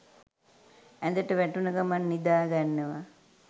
ඇඳට වැටුන ගමන් නිදාගන්නවා